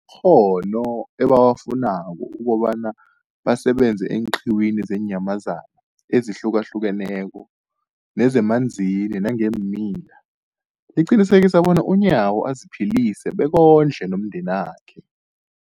ghono ebawafunako ukobana basebenze eenqiwini zeenyamazana ezihlukahlukeneko nezemanzini nangeemila, liqinisekisa bona uNyawo aziphilise bekondle nomndenakhe.